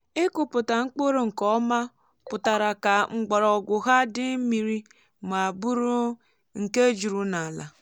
ịkụpụta mkpụrụ nke ọma pụtara ka mgbọrọgwụ ha dị mmiri ma bụrụ nke juru n’ala.